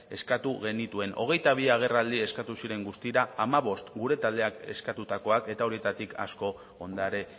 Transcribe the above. eskatu genituen hogeita bi agerraldi eskatu ziren guztira hamabost gure taldeak eskatutako eta horietatik asko ondare